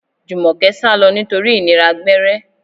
Jumoke sálọ nítorí ìnira gbẹ́rẹ́.